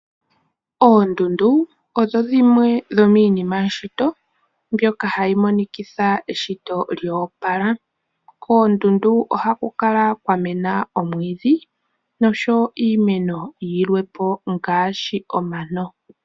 Oondundu odho dhimwe dhomiinima yeshito mbyoka hayi monikitha eshito lyoopala koondundu ohaku kala kwa mena omwiidhi oshowo iimeno yimwepo ngaashi omano.